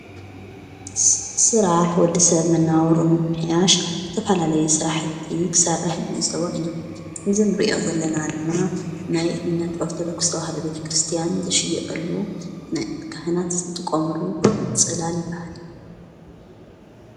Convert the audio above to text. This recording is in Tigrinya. ስራሕ ወዲ ሰብ መነባብርኡ ንምምሕያሽ ዝተፋላለየ ስራሕቲ ክሰርሕ ንዕዘቦ ኢና። ንዚንርእዮ ዘለና ድማ ናይ እምነት ኦርቶዶክስ ቤተ-ክርስቲያን ዝሽየጠሉ ናይ ካህናት ዝጥቖምሉ ጽላል ይበሃል።